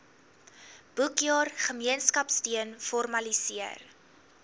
boekjaar gemeenskapsteun formaliseer